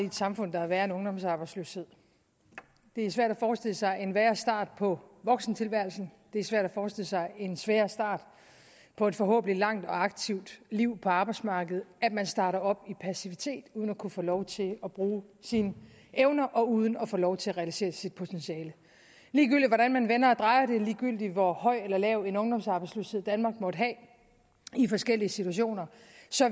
i et samfund der er værre end ungdomsarbejdsløshed det er svært at forestille sig en værre start på voksentilværelsen det er svært at forestille sig en sværere start på et forhåbentlig langt og aktivt liv på arbejdsmarkedet at man starter op i passivitet uden at kunne få lov til at bruge sine evner og uden at få lov til at realisere sit potentiale ligegyldigt hvordan man vender og drejer det ligegyldigt hvor høj eller lav en ungdomsarbejdsløshed danmark måtte have i forskellige situationer